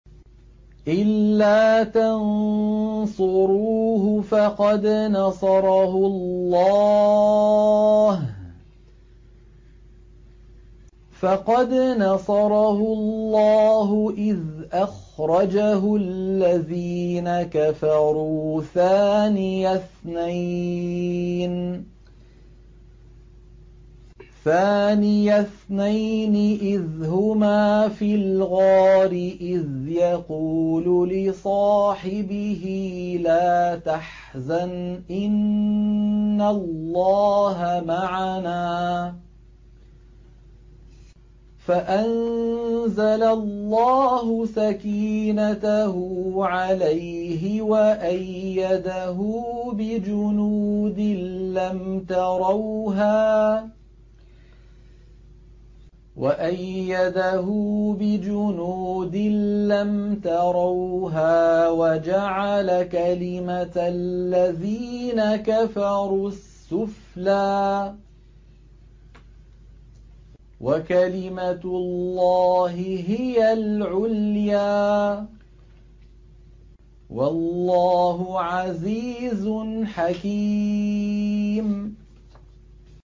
إِلَّا تَنصُرُوهُ فَقَدْ نَصَرَهُ اللَّهُ إِذْ أَخْرَجَهُ الَّذِينَ كَفَرُوا ثَانِيَ اثْنَيْنِ إِذْ هُمَا فِي الْغَارِ إِذْ يَقُولُ لِصَاحِبِهِ لَا تَحْزَنْ إِنَّ اللَّهَ مَعَنَا ۖ فَأَنزَلَ اللَّهُ سَكِينَتَهُ عَلَيْهِ وَأَيَّدَهُ بِجُنُودٍ لَّمْ تَرَوْهَا وَجَعَلَ كَلِمَةَ الَّذِينَ كَفَرُوا السُّفْلَىٰ ۗ وَكَلِمَةُ اللَّهِ هِيَ الْعُلْيَا ۗ وَاللَّهُ عَزِيزٌ حَكِيمٌ